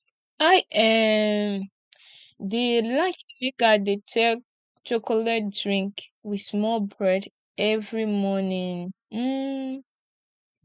i um dey like make i dey take chocolate drink wit small bread every morning um